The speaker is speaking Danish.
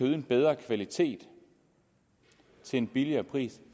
en bedre kvalitet til en billigere pris